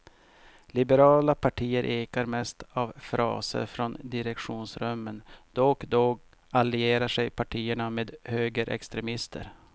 Liberala partier ekar mest av fraser från direktionsrummen, då och då allierar sig partierna med högerextremister.